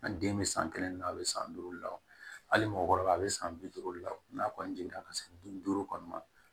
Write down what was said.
A den bɛ san kelen na a bɛ san duuru la o hali mɔgɔkɔrɔba bɛ san bi duuru la n'a kɔni jiginna ka se bin duuru kɔni ma